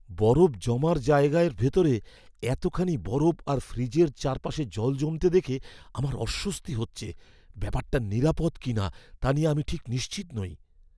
বরফ জমার জায়গার ভেতরে এতখানি বরফ আর ফ্রিজের চারপাশে জল জমতে দেখে আমার অস্বস্তি হচ্ছে; ব্যাপারটা নিরাপদ কিনা তা নিয়ে আমি ঠিক নিশ্চিত নই।